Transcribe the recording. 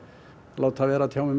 láta vera að tjá mig